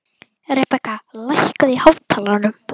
Rebekka, lækkaðu í hátalaranum.